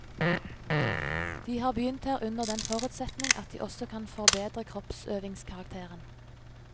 De har begynt her under den forutsetning at de også kan forbedre kroppsøvingskarakteren.